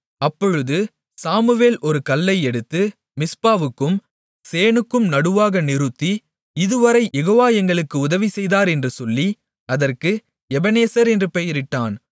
அப்பொழுது சாமுவேல் ஒரு கல்லை எடுத்து மிஸ்பாவுக்கும் சேணுக்கும் நடுவாக நிறுத்தி இதுவரை யெகோவா எங்களுக்கு உதவிசெய்தார் என்று சொல்லி அதற்கு எபெனேசர் என்று பெயரிட்டான்